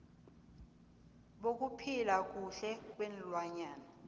bokuphila kuhle kweenlwana